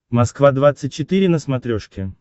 москва двадцать четыре на смотрешке